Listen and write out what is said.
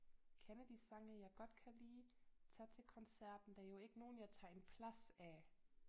Kender de sange jeg godt kan lide tager til koncerten der er jo ikke nogen jeg tager en plads af